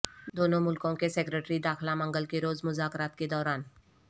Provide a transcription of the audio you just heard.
دونوں ملکوں کے سیکرٹری داخلہ منگل کے روز مذاکرات کےدوران